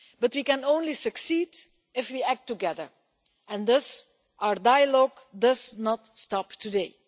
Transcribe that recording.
We can only succeed if we act together, and thus our dialogue does not stop today.